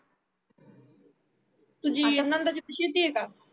तुझी नंदाच्या इथ शेती आहे का